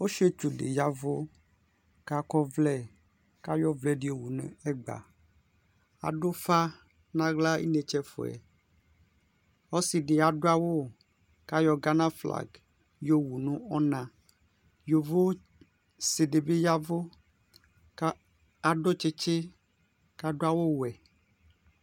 Osiatsʋ di ya ɛʋ kʋ akɔ ɔvlɛ kʋ ayɔ ovlɛdi wʋnʋ ɛgba adʋ ʋfa nʋ aɣla inetse ɛfʋɛ ɔsidi adʋ awʋ kʋ ayɔ gana flag yɔwʋ nʋ ɔna yovotsi dibi ya ɛvʋ kadʋ tsitsi kʋ adʋ awʋwɛ